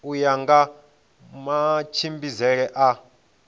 u ya nga matshimbidzele a